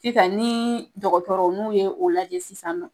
Sisan ni dɔgɔtɔrɔ n'u ye o lajɛ sisan nɔ